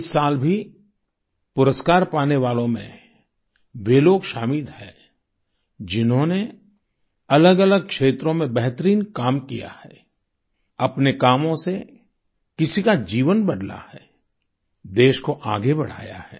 इस साल भी पुरस्कार पाने वालों में वे लोग शामिल हैं जिन्होंने अलगअलग क्षेत्रों में बेहतरीन काम किया है अपने कामों से किसी का जीवन बदला है देश को आगे बढ़ाया है